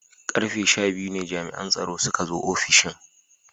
Karfe sha biyu ne jami'an tsaro suka zo ofishin.